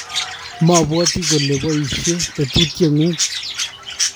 mabwoti kole boisie tetutieng'ung'